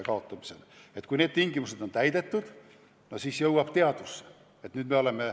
Loomulikult tuleb siis välja kuulutada sõjaline seisukord.